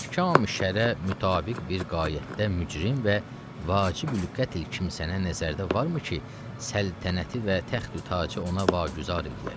Əhkami-şərə mütabiq bir qayətdə mücrim və vacibü-qətl kimsənə nəzərdə varmı ki, səltənəti və təxtü-tacı ona vagüzar eləyək?